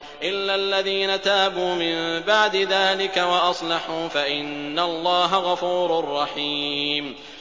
إِلَّا الَّذِينَ تَابُوا مِن بَعْدِ ذَٰلِكَ وَأَصْلَحُوا فَإِنَّ اللَّهَ غَفُورٌ رَّحِيمٌ